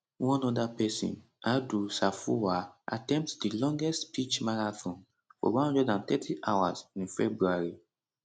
one oda pesin adu sarfowaa attempt di longest speech marathon for 130 hours in february